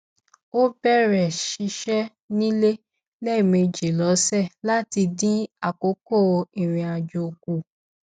ó bèrè ṣíṣe ní ilé lẹmẹjì lósè láti dín àkókò irinàjò kù